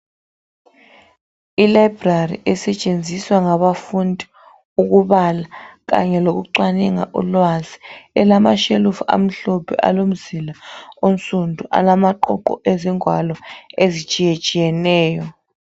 Ilibrary esetshenziswa ngabafundi ukubala kanye lokucwaninga ulwazi elama shelufu amhlophe alomzila onsundu alamaqoqo ezingwalo ezitshiyetshiyeneyo